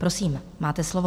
Prosím, máte slovo.